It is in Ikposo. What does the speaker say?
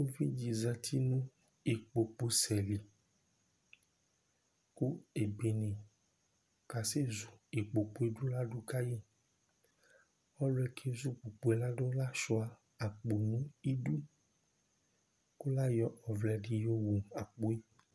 Ʋvidí zɛti nʋ ikpoku sɛ li kʋ ebene kasɛzu ikpoku ye ladu kayi Ɔliyɛ kezu ikpoku ladu lasʋia akpo di nʋ idu kʋ layɔ ɔvlɛ di yɔ wu akpo ye